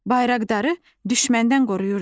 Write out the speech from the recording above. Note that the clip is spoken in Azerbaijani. Bayraqdarı düşməndən qoruyurdular.